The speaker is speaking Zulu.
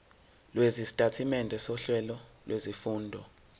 lwesitatimende sohlelo lwezifundo